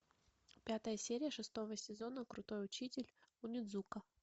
пятая серия шестого сезона крутой учитель онидзука